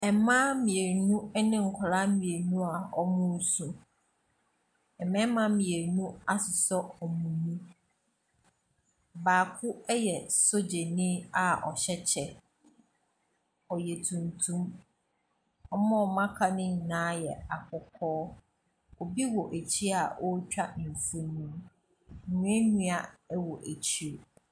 Ɛmmaa mmienu ɛne nkɔlaa mmienu a wɔmo su. Ɛmmɛma mmienu asosɔ wɔn mu Baako ɛyɛ sojani a ɔhyɛ kyɛ. Ɔyɛ tuntum, wɔmo a wɔmo aka no nyinaa yɛ akɔkɔɔ. Obi wɔ akyi a otwa mfoni. Nnua nnua wɔ akyire.